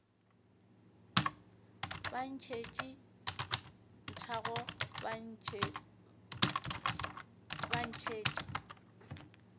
ba ntšhetše nthago ba ntšhetše